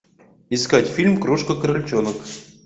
искать фильм крошка крольчонок